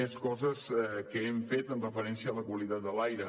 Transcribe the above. més coses que hem fet amb referència a la qualitat de l’aire